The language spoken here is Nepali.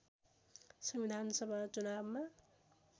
संविधानसभा चुनावमा